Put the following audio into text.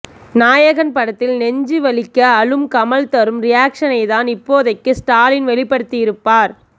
நாயகன் படத்தில் நெஞ்சு வலிக்க அழும் கமல் தரும் ரியாக்சனைத்தான் இப்போதைக்கு ஸ்டாலின் வெளிப்படுத்தியிருப்பார்